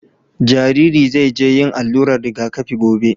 Jariri zai je yin allurar rigakafi gobe.